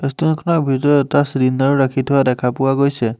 ৰেষ্টোৰেন্তখনৰ ভিতৰত এটা চিলিণ্ডাৰো ৰাখি থোৱা দেখা পোৱা গৈছে।